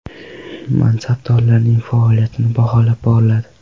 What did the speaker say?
Mansabdorlarning faoliyati baholab boriladi.